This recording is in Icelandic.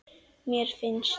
Mér finnst.